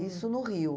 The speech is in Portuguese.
Isso no Rio.